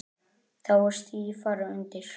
Þá er stífara undir.